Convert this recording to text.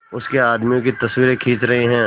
उसके आदमियों की तस्वीरें खींच रहे हैं